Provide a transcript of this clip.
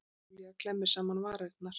Júlía klemmir saman varirnar.